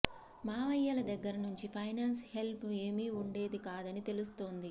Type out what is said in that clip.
మామయ్యల దగ్గర నుంచి finance help ఏమీ వుండేది కాదని తెలుస్తోంది